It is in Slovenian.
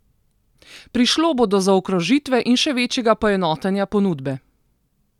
Prišlo bo do zaokrožitve in še večjega poenotenja ponudbe.